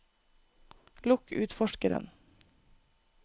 lukk utforskeren